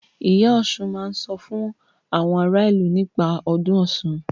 Ìyá Ọsùn máa sọ fún àwọn ara ìlú nípa ọdún Ọ̀ṣun.